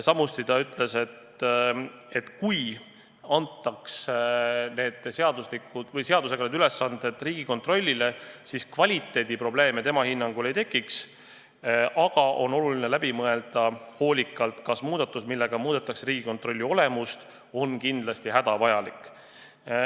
Samuti ta ütles, et kui antaks seadusega need ülesanded Riigikontrollile, siis kvaliteediprobleeme tema hinnangul ei tekiks, aga on oluline hoolikalt läbi mõelda, kas muudatus, millega muudetakse Riigikontrolli olemust, on ikka hädavajalik.